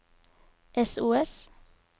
sos